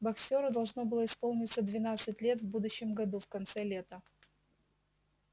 боксёру должно было исполниться двенадцать лет в будущем году в конце лета